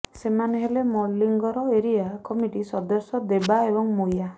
ସେମାନେ ହେଲେ ମଲିଙ୍ଗର ଏରିଆ କମିଟି ସଦସ୍ୟ ଦେବା ଏବଂ ମୁୟା